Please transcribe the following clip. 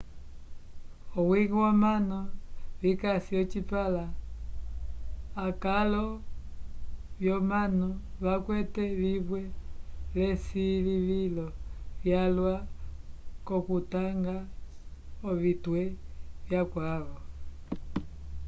owiñgi womanu vikasi ocipãla akalo vyomanu vakwete vimwe l'esilivilo lyalwa k'okutanga ovitwe vyakavo